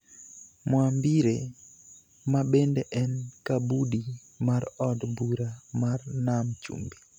Mwambire, ma bende en Kabudi mar Od bura mar Nam Chumbi,